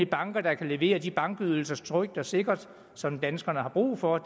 banker der kan levere de bankydelser trygt og sikkert som danskerne har brug for